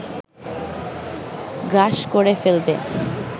গ্রাস করে ফেলবে